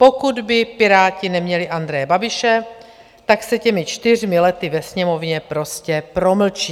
Pokud by Piráti neměli Andreje Babiše, tak se těmi čtyřmi lety ve Sněmovně prostě promlčí.